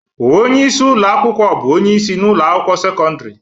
Onye isi ụlọ akwụkwọ bụ onye isi na ụlọ akwụkwọ sekọndrị